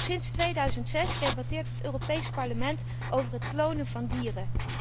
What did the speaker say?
Al sinds 2006 debatteert het Europees Parlement over het klonen van dieren.